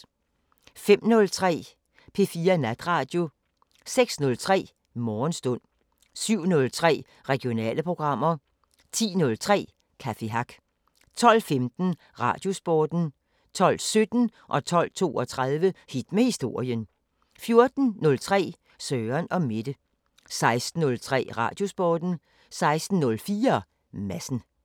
05:03: P4 Natradio 06:03: Morgenstund 07:03: Regionale programmer 10:03: Café Hack 12:15: Radiosporten 12:17: Hit med historien 12:32: Hit med historien 14:03: Søren & Mette 16:03: Radiosporten 16:04: Madsen